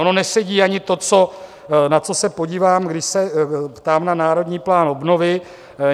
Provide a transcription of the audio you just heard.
Ono nesedí ani to, na co se podívám, když se ptám na Národní plán obnovy.